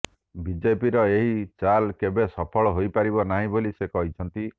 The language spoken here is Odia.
ବିଜେପିର ଏହି ଚାଲ କେବେ ସଫଳ ହୋଇପାରିବ ନାହିଁ ବୋଲି ସେ କହିଛନ୍ତି